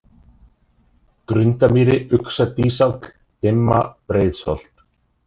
Grundamýri, Uxadýsáll, Dimma, Breiðsholt